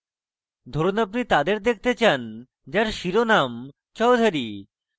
ধরুন আপনি তাদের দেখতে চান যার শিরোনাম chaudhury